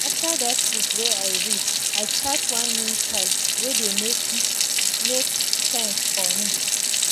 after that book wey i read i start one new style wey dey make make sense for me.